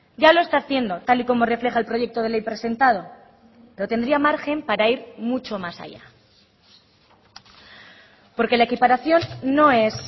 ya lo está haciendo tal y como refleja el proyecto de ley presentado pero tendría margen para ir mucho mas allá porque la equiparación no es